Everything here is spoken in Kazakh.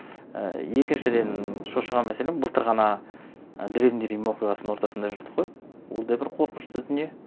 і екіншіден шошыған мәселем былтыр ғана і древний рим оқиғасының ортасында жүрдік қой ол да бір қорқынышты дүние